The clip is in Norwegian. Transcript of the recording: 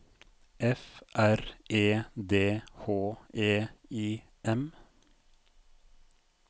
F R E D H E I M